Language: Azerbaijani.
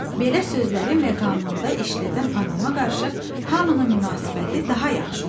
Belə sözləri məqamında işlədən adama qarşı hamının münasibəti daha yaxşı olur.